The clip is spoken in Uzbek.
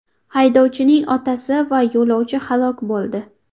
Haydovchining otasi va yo‘lovchi halok bo‘ldi.